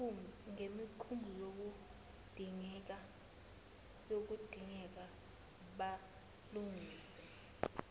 ngemikhumbi kuyodingeka balungise